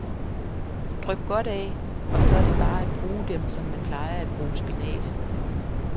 Dryp godt af, og så er det bare at bruge dem som man plejer at bruge spinat.